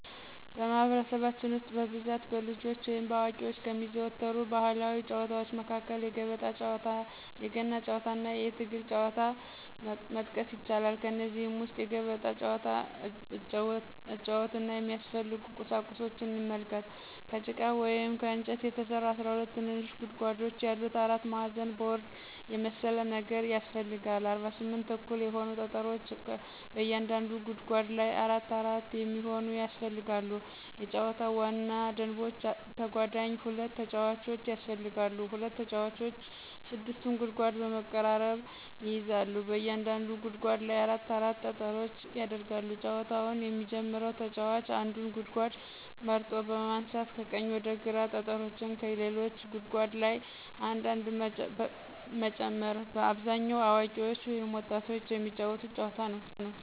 በማህበረሰባችን ውስጥ በብዛት በልጆች ወይም በአዋቂዎች ከሚዘወተሩ ባህላዊ ጨዋታዎች መካከል የገበጣ ጨዋታ፣ የገና ጨዋታና የትግል ጨዋታን መጥቀስ ይቻላል። ከእነዚህም ውስጥ የገበጣ ጨዋታን አጨዋወትና የሚያስፈልጉ ቁሳቁሶችን ስንመለከት፦ ከጭቃ ወይም ከእንጨት የተሰራ 12 ትንንሽ ጉድጓዶች ያሉት አራት ማዕዘን ቦርድ የመሰለ ነገር ያሰፈልጋል፣ 48 እኩል የሆኑ ጠጠሮች በእያንዳንዱ ጉድጓድ ላይ አራት አራት የሚሆኑ ያስፈልጋሉ የጨዋታው ዋና ደንቦች ተጓዳኝ ሁለት ተጫዋቾች ያስፈልጋሉ፣ ሁለት ተጫዋቾች 6ቱን ጉድጓድ በመቀራረብ ይይዛሉ፣ በእያንዳንዱ ጉድጓድ ላይ አራት አራት ጠጠሮች ይደረጋሉ፣ ጨዋታውን የሚጀመረው ተጫዋች አንዱን ጉድጓድ መርጦ በማንሳት ከቀኝ ወደ ግራ ጠጠሮችን ከሌሎች ጉድጓዶች ላይ አንድ አንድ መጨመር። በአብዛኛው አዋቂዎች ወይም ወጣቶች የሚጫወቱት ጨዋታ ነዉ።